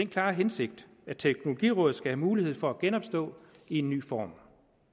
klare hensigt at teknologirådet skal have mulighed for at genopstå i en ny form